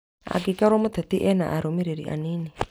Angĩkorwo mũteti ena arũmĩrĩri anini